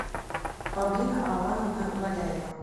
павлина алановна валяева